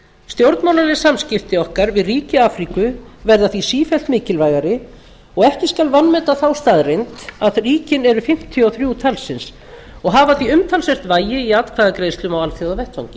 stjórnmálaleg samskipti okkar við ríki afríku verða því sífellt mikilvægari og ekki skal vanmeta þá staðreynd að ríkin eru fimmtíu og þrjú talsins og hafa því umtalsvert vægi í atkvæðagreiðslum á alþjóðavettvangi